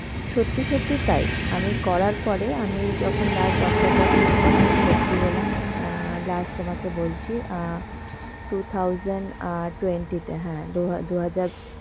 সত্যি সত্যি তাই, আমি করার পরে আমি যখন last doctor দেখানোর পরে আমি ভর্তি হলাম অ্যাঁ last তোমাকে বলছি অ্যাঁ two thousand অ্যাঁ twenty তে হ্যাঁ দু~ দু-হাজার